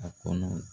A kɔnɔ